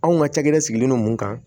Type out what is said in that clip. Anw ka cakɛda sigilen don mun kan